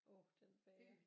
Åh den bager